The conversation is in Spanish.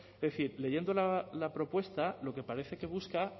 es decir leyendo la propuesta lo que parece que busca